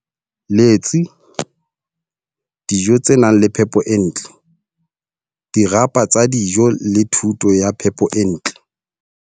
Letsi, dijo tse nang le phepo e ntle, dirapa tsa dijo le thuto ya phepo e ntle.